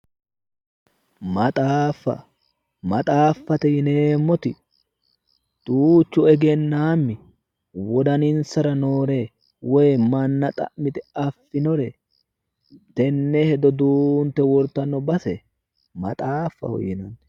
Maxaaffa. Maxaaffate yineemmoti duuchu egennaammi wodaninsara noore woyi manna xa'mite affinore duunte wortanno base maxaaffaho yinanni